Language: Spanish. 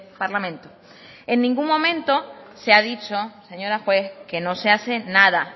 parlamento en ningún momento se ha dicho señora juez que no se hace nada